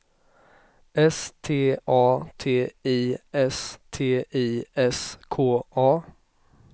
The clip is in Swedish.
S T A T I S T I S K A